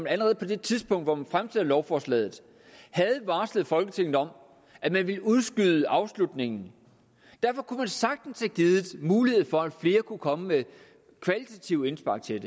allerede på det tidspunkt hvor man fremsatte lovforslaget havde varslet folketinget om at man ville udskyde afslutningen derfor kunne man sagtens have givet mulighed for at flere kunne komme med kvalitative indspark til